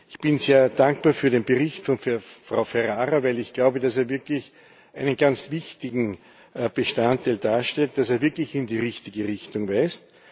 Ich bin sehr dankbar für den Bericht von Frau Ferrara, weil ich glaube, dass er wirklich einen ganz wichtigen Bestandteil darstellt, dass er wirklich in die richtige Richtung weist.